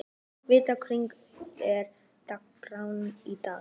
Evíta, hvernig er dagskráin í dag?